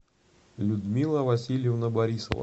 людмила васильевна борисова